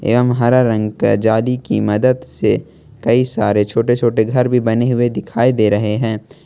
एवं हरा रंग का जाली की मदद से कई सारे छोटे छोटे घर भी बने हुए दिखाई दे रहे हैं।